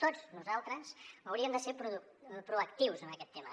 tots nosaltres hauríem de ser proactius en aquest tema